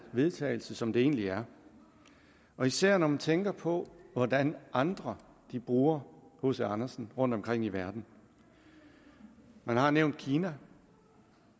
vedtagelse som det egentlig er især når man tænker på hvordan andre bruger hc andersen rundtomkring i verden man har nævnt kina